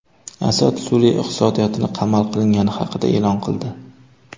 Asad Suriya iqtisodiyotining qamal qilingani haqida e’lon qildi.